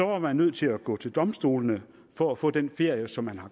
var man nødt til at gå til domstolene for at få den ferie som man